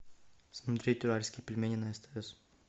смотреть уральские пельмени на стс